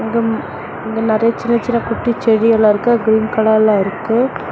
இங்கு இங்க நெறைய சின்ன சின்ன குட்டி செடி எல்லாம் இருக்கு கிரீன் கலர்ல இருக்கு.